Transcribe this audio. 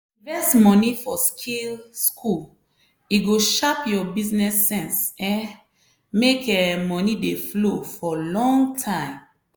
invest money for skill school e go sharp your business sense um make um money dey flow for long time.